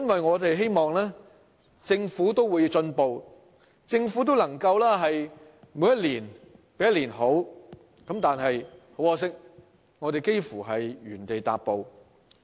我們希望政府會進步，一年比一年好，但很可惜，它幾乎是原地踏步。